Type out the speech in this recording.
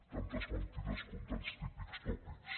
tantes mentides com tants típics tòpics